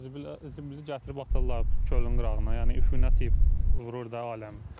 Zibili gətirib atırlar gölün qırağına, yəni iyinət iy vurur da aləmi.